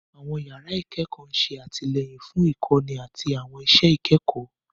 Àwọn yàrá ìkẹ́kọ̀ọ́ ń ṣe àtìlẹ́yìn fún ìkọ́ni àti àwọn iṣẹ́ ìkẹ́kọ̀ọ́.